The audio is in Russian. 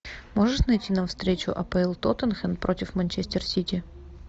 можешь найти нам встречу апл тоттенхэм против манчестер сити